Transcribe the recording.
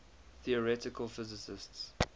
theoretical physicists